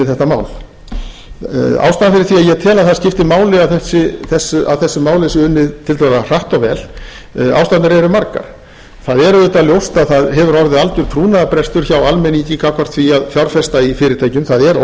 þetta mál ástæðan fyrir því að ég tel að það skipti máli að þessu máli sé unnið tiltölulega hratt og vel ástæðurnar eru margar það er auðvitað ljóst að það hefur orðið algjör trúnaðarbrestur hjá almenningi gagnvart því að fjárfesta í fyrirtækjum það er